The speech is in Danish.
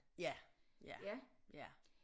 Ja ja ja